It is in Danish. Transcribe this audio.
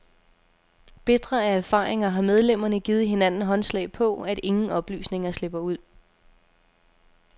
Bitre af erfaringer har medlemmerne givet hinanden håndslag på, at ingen oplysninger slipper ud.